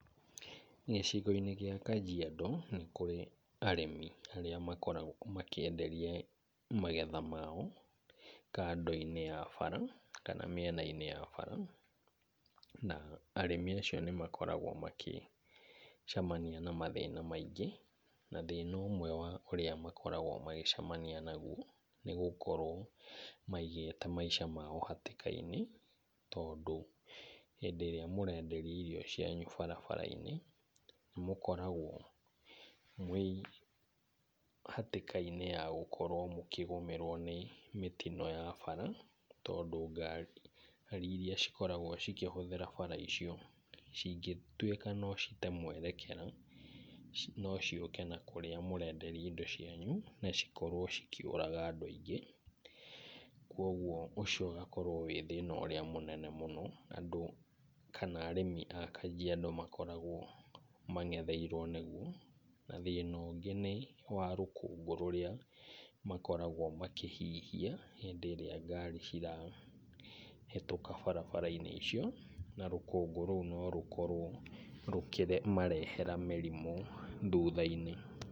Gĩcigo-inĩ gĩa Kajiado nĩ kũrĩ arĩmi arĩa makoragwo makĩenderia magetha mao kando -inĩ ya bara kana mĩena-inĩ ya bara. Na arĩmi acio nĩ makoragwo magĩcemania na mathĩna maingĩ. Na thĩna ũmwe wa ũrĩa makoragwo magĩcemania naguo nĩ gũkorwo maigĩte maica mao hatĩka-inĩ, tondũ hĩndĩ ĩrĩa mũrenderia indo ciany barabara-inĩ nĩ mũkoragwo mwĩ hatĩka-inĩ ya gũkorwo mũkĩgũmĩrwo ni mĩtino ya bara. Tondũ ngari irĩa cikoragwo cikĩhũthĩra bara icio, cingĩtuĩka no cite mwerekero, no ciũke na kũrĩa mũrenderia indo cianyu na cikorwo cikĩũraga andũ aingĩ. Kwoguo ũcio ũgakorwo wĩ thĩna mũnene mũno andũ kana arĩmi a Kajiado makoragwo mangetheirwo nĩguo. Na thĩna ũngĩ nĩ wa rũkũngũ rũrĩa makoragwo makĩhihia hĩndĩ ĩrĩa ngari cirahĩtũka barabara-inĩ icio, na rũkũngũ rũu no rũkorwo rũkĩmarehera mĩrimũ thutha-inĩ.